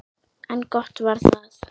En gott var það.